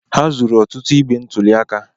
Ha zuru ọtụtụ igbe ntụli aka.